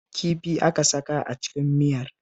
Kifi aka saka a cikin miyar